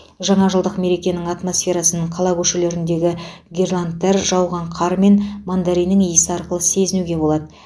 жаңа жылдық мерекенің атмосферасын қала көшелеріндегі гирляндтар жауған қар мен мандариннің иісі арқылы сезінуге болады